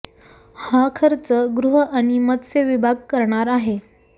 हा खर्च गृह आणि मत्स्य विभाग करणार आहे